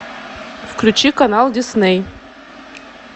включи канал дисней